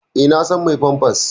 Eh, na sa mai famfas.